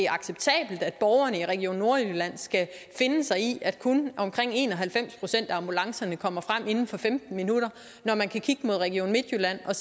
acceptabelt at borgerne i region nordjylland skal finde sig i at kun omkring en og halvfems procent af ambulancerne kommer frem inden for femten minutter når man kan kigge mod region midtjylland og